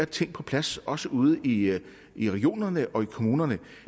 ting på plads også ude i i regionerne og kommunerne